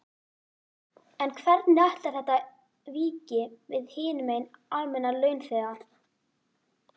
En hvernig ætlar þetta víki við hinum almenna launþega?